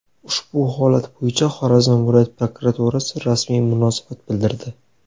Ushbu holat bo‘yicha Xorazm viloyat prokuraturasi rasmiy munosabat bildirdi.